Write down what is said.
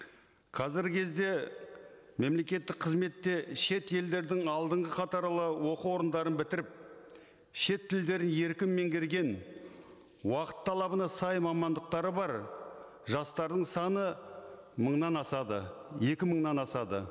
қазіргі кезде мемлекеттік қызметте шет елдердің алдынғы қатарлы оқу орындарын бітіріп шет тілдерін еркін меңгерген уақыт талабына сай мамандықтары бар жастардың саны мыңнан асады екі мыңнан асады